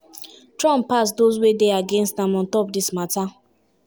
trump pass those wey dey against am on top dis mata.